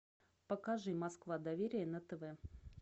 покажи москва доверие на тв